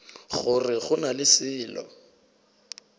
gore go na le selo